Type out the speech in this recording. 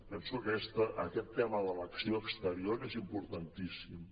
penso que aquest tema de l’acció exterior és importantíssim